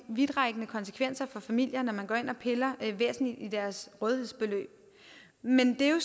vidtrækkende konsekvenser for familier når man går ind og piller væsentligt i deres rådighedsbeløb men det er jo